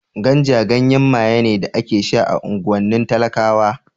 Ganja ganyen maye ne da ake sha a unguwannin talakawa